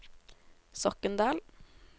Sokndal